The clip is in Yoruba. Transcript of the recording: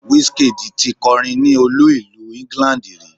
Wizkid ti kọrin ní olú ìlú England rí.